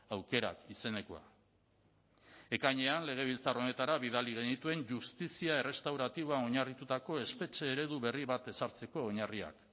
aukerak izenekoa ekainean legebiltzar honetara bidali genituen justizia errestauratiboan oinarritutako espetxe eredu berri bat ezartzeko oinarriak